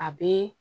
A bɛ